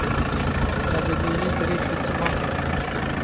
Men det blir inte riktigt som man tänkt sig.